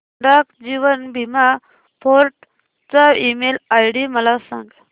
डाक जीवन बीमा फोर्ट चा ईमेल आयडी मला सांग